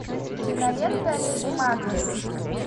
кинолента леди макбет